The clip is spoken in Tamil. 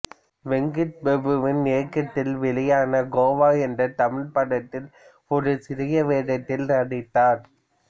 வெங்கட் பிரபுவின் இயக்கத்தில் வெளியான கோவா என்ற தமிழ்ப் படத்தில் ஒரு சிறிய வேடத்தில் நடித்தார்